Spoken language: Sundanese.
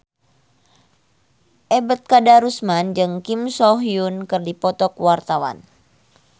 Ebet Kadarusman jeung Kim So Hyun keur dipoto ku wartawan